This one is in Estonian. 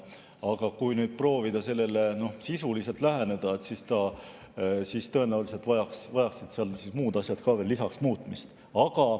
Aga kui proovida sellele sisuliselt läheneda, siis tõenäoliselt vajaksid seaduses muud asjad ka veel lisaks muutmist.